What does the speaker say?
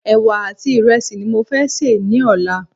Ẹ̀wà àti ìrẹsì ni mo fé sè ní ọ̀la